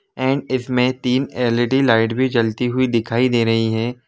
And इसमे तिन LED light भी जलती हुई दिखाई दे रही है।